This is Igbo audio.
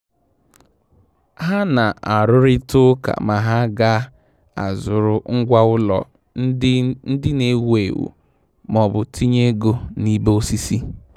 Há nà-árụ́rị́tà ụ́kà mà há ga-azụ́rụ ngwá ụ́lọ̀ ndị ndị nà-èwú éwú ma ọ́ bụ tinye ego n’ìbè osisi.